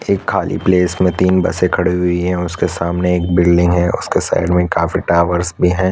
एक खाली प्लेस में तीन बसे खड़ी हुई है उसके सामने एक बिल्डिंग है उसके साइड में काफी टावर्स भी है।